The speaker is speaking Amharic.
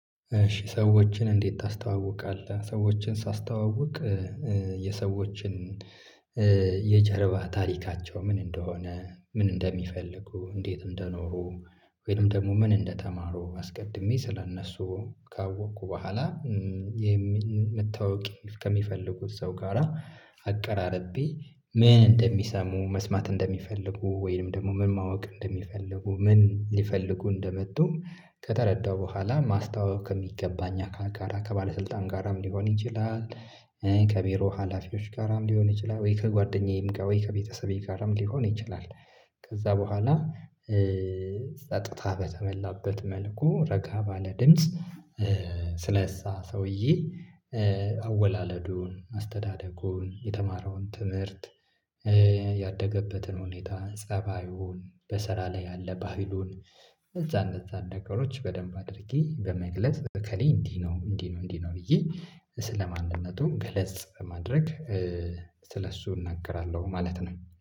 እሺ ሰዎችን እንዴት ታስተዋውቃለህ ሰዎችን ሳስተዋውቅ የሰዎችን የጀርባ ታሪካቸው ምን እንደሆነ ምን እንደሚፈልጉ እንዴትም እንደኖሩ ወይንም ደግሞ ምን እንደተማሩ አስቀድሜ ስለእነሱ ካወቅኩ በኋላ የምመተዋወቅ ከሚፈልጉት ሰው ጋራ አቀራርቤ ምን እንደሚሰሙ መስማት እንደሚፈልጉ ወይንም ደግሞ ምን ማወቅ እንደሚፈልጉ ምን ሊፈልጉ እንደመጡ ከተረዳው በኋላ ማስተዋወቅ ከሚገባኝ አካል ጋራ ከባለስልጣን ጋራም ሊሆን ይችላል። ከቢሮ ሀላፊዎች ጋራም ሊሆን ይችላል ወይ ከጓደኛዬም ጋር ወይ ከቤተሰቤ ጋርም ሊሆን ይችላል። ከዛ በኋላ ጸጥታ በተመላበት መልኩ ረጋ ባለ ድምጽ። ስለእዛ ሰውዬ አወላለዱን አስተዳደጉን የተማረውን ትምህርት። ያደገበትን ሁኔታ ፀባዩን በስራ ላይ ያለ ባህሉን እነዛ እነዛ ነገሮች በደንብ አድርጌ በመግለጽ እከሌ እንዲህ ነው። እንዲህ ነው እንዲህ ነው። ብዬ ስለማንነቱ ገለጽ በማድረግ ስለእሱ እናገራለሁ ማለት ነው